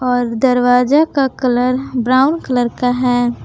और दरवाजा का कलर ब्राउन कलर का है।